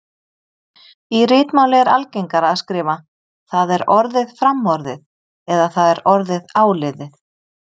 Í ritmáli er algengara að skrifa: það er orðið framorðið eða það er orðið áliðið